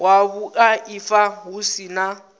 wa vhuaifa hu si na